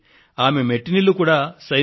ఒక సందేశాన్ని ఆమె టెలిఫోన్ ద్వారా పంపించారు